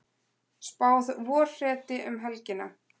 Spáð vorhreti um helgina